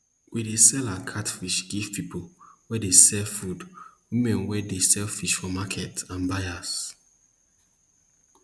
we dey sell our catfish give people wey dey sell food women wey dey sell fish for market and buyers